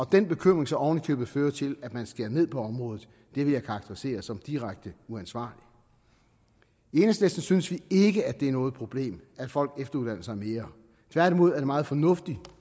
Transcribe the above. den bekymring så oven i købet fører til at man skærer ned på området vil jeg karakterisere som direkte uansvarligt i enhedslisten synes vi ikke det er noget problem at folk efteruddanner sig mere tværtimod er det meget fornuftigt